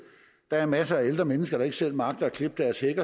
der er masser af ældre mennesker der ikke selv magter at klippe deres hæk